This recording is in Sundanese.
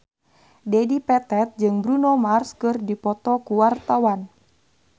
Dedi Petet jeung Bruno Mars keur dipoto ku wartawan